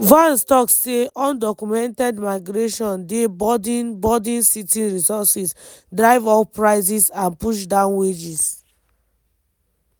vance tok say undocumented migration dey burden burden city resources drive up prices and push down wages.